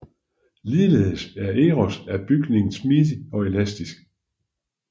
Ligeledes er Eros af bygning smidig og elastisk